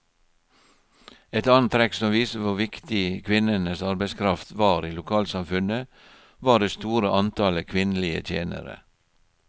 Et annet trekk som viser hvor viktig kvinnenes arbeidskraft var i lokalsamfunnet, var det store antallet kvinnelige tjenere.